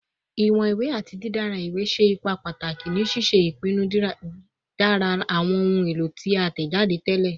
Iwọn iwe ati didara iwe ṣe ipa pataki ni ṣiṣe ipinnu didara awọn ohun elo ti a tẹjade tẹlẹ